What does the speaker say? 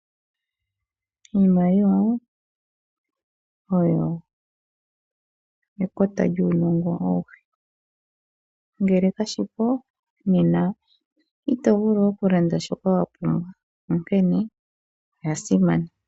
Iimaliwa oyo ekota lyuunongo auhe. Ngele kashipo nena, ito vulu okulanda shoka wapumbwa, okene oya simana.